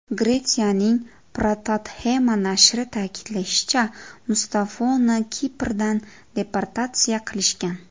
Gretsiyaning Protothema nashri ta’kidlashicha, Mustafoni Kiprdan deportatsiya qilishgan.